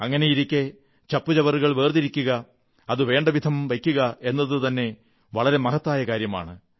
അങ്ങനെയിരിക്കെ ചപ്പുചവറുകൾ വേർതിക്കുക അത് വേണ്ടവിധം വയ്ക്കുക എന്നതുതന്നെ വളരെ മഹത്തായ കാര്യമാണ്